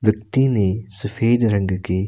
व्यक्ति ने सफेद रंग के--